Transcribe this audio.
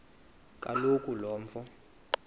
kaloku lo mfo